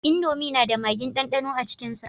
Indomi na da magin dandano a cikin sa